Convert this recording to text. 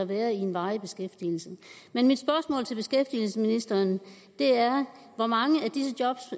være i en varig beskæftigelse men mit spørgsmål til beskæftigelsesministeren er hvor mange af de job